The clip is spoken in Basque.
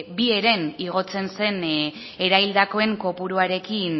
bi heren igotzen zen eraildakoen kopuruarekin